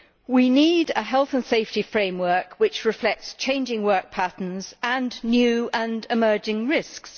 We need a health and safety framework which reflects changing work patterns and new and emerging risks.